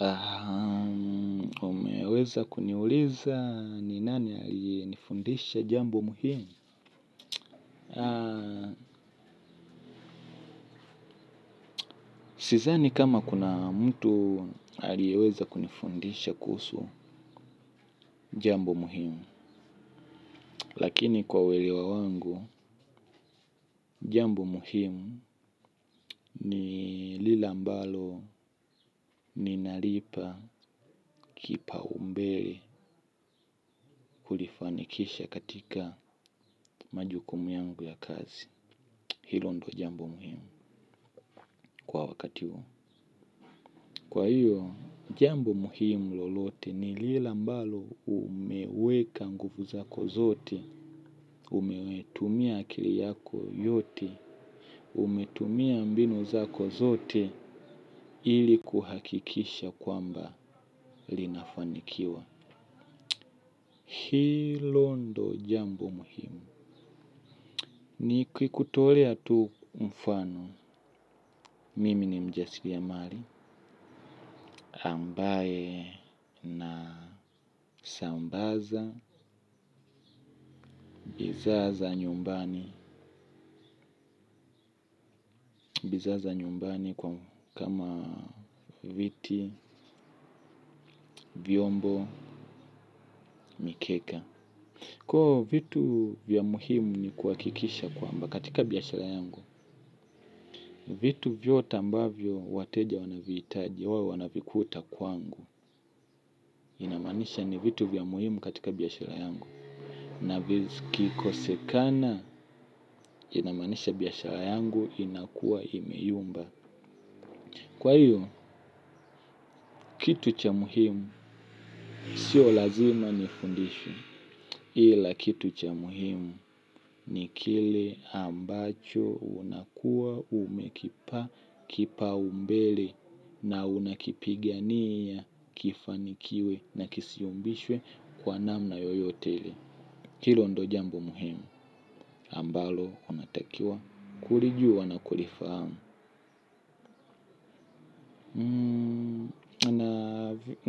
Ahaa, umeweza kuniuliza ni nani alinifundisha jambo muhimu? Sidhani kama kuna mtu alieweza kunifundisha kuhusu jambo muhimu, lakini kwa uelewa wangu, jambo muhimu ni lile ambalo ni nalipa kipau mbele kulifanikisha katika majukumu yangu ya kazi. Hilo ndo jambo muhimu kwa wakati huu. Kwa hiyo, jambo muhimu lolote ni lile ambalo umeweka nguvu zako zote, umetumia akili yako yote, ume tumia mbinu zako zote ili kuhakikisha kwamba linafanikiwa. Hilo ndo jambo muhimu. Nikikutolea tu mfano, mimi ni mjasiriamali, ambaye sambaza, bidhaa za nyumbani, bidhaa za nyumbani kwa kama viti, vyombo, mikeka. Kwa vitu vya muhimu ni kuhakikisha kwamba katika biashara yangu vitu vyote ambavyo wateja wanavihitaji wao wanavikuta kwangu. Inamaanisha ni vitu vya muhimu katika biashara yangu na vikikosekana inamaanisha biashara yangu inakuwa imeyumba. Kwa hiyo, kitu cha muhimu sio lazima nifundishwe. Ila kitu cha muhimu ni kile ambacho unakuwa umekipa kipaumbele na unakipigania kifanikiwe na kisiyumbishwe kwa namna yoyote ile. Hilo ndo jambo muhimu ambalo unatakiwa kulijua na kulifahamu.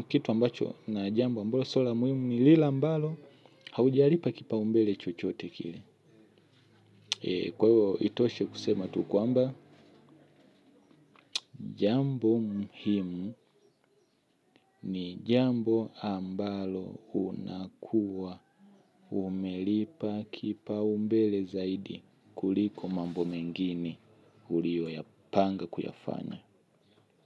Kitu ambacho na jambo ambalo sio la muhimu ni lile ambalo haujalipa kipaumbele chochote kile. Kwa hivyo itoshe kusema tu kwamba, jambo muhimu ni jambo ambalo unakuwa umelipa kipaumbele zaidi kuliko mambo mengini ulioyapanga kuyafanya.